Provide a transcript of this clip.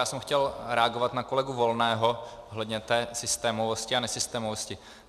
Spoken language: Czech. Já jsem chtěl reagovat na kolegu Volného ohledně té systémovosti a nesystémovosti.